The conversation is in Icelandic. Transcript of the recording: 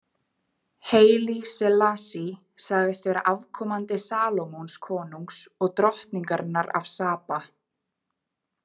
Haile Selassie sagðist vera afkomandi Salómons konungs og drottningarinnar af Saba.